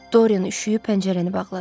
Dorin üşüyüb pəncərəni bağladı.